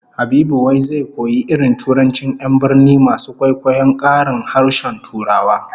Habibu wai zai koyi irin turancin 'yan birni masu kwaikwayon karin harshen Turawa